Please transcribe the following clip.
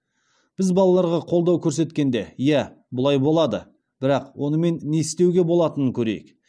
біз балаларға қолдау көрсеткенде иә бұлай болады бірақ онымен не істеуге болатынын көрейік